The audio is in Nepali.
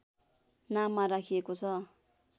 नाममा राखिएको छ